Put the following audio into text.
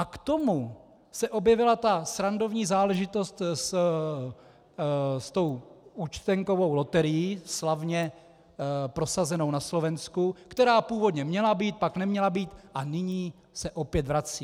A k tomu se objevila ta srandovní záležitost s tou účtenkovou loterií, slavně prosazenou na Slovensku, která původně měla být, pak neměla být a nyní se opět vrací.